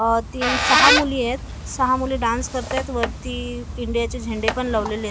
अ तीन सहा मुली आहेत सहा मुली डान्स करतात वरती इंडियाचे झेंडे पण लावलेले आहेत.